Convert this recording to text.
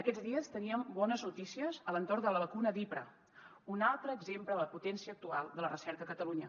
aquests dies teníem bones notícies a l’entorn de la vacuna d’hipra un altre exemple de la potència actual de la recerca a catalunya